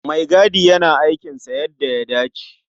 Maigadi yana aikinsa yadda ya dace.